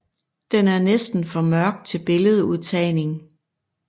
Den er næsten for mørk til billedudtagning